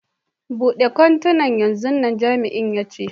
Bude kwantenan yanzun nan, Jami'in ya ce.